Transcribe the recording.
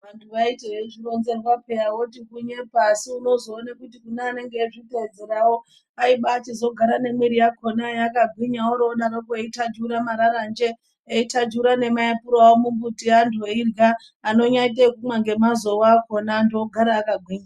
Vantu vaiti veizvironzerwa peya voti kunyepa. Asi unozoone kuti kune anenge eizviteedzerawo aichibaazogara nemwiiri yakona yakagwinya. Oorodaroko eitajura mararanje, eitajura ngemaepurawo mumbuti antu eirya. Anonyaaite okumwa ngamazowe akona, antu ogara akagwinya.